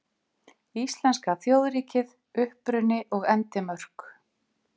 Íslenska þjóðríkið: Uppruni og endimörk.